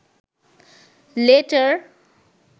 letter